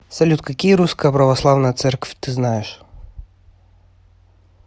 салют какие русская православная церквь ты знаешь